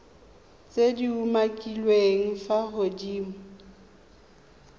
tse di umakiliweng fa godimo